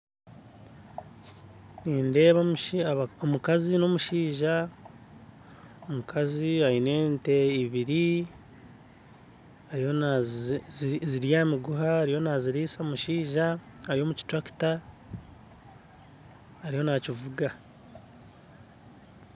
Nindeeba omukazi n'omushaija omukazi aine ente ibiri zirya aha miguha, ariyo naaziriisa omushaija, ari omu kiturakita, ariyo nakivuga